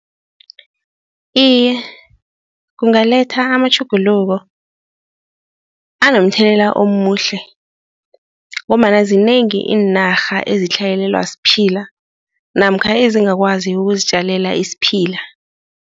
Iye, kungaletha amatjhuguluko anomthelela omuhle ngombana zinengi iinarha azitlhayelelwa siphila namkha ezingakwazi ukuzitjalela isiphila.